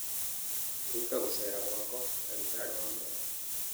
Ruta gũceera gwakwa ndagĩtarĩ wa magego